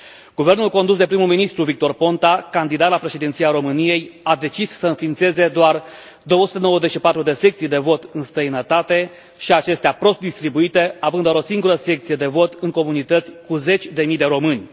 Guvernul condus de primul ministru, Victor Ponta, candidat la președinția României, a decis să înființeze doar 294 de secții de vot în străinătate, și acestea prost distribuite, având doar o singură secție de vot în comunități cu zeci de mii de români.